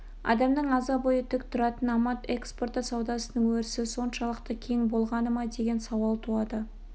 адамның аза бойы тік тұратын амад экспорты саудасының өрісі соншалықты кең болғаны ма деген сауал туады